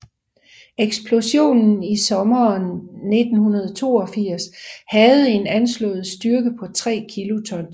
Eksplosionen i sommeren 1982 havde en anslået styrke på 3 kilotons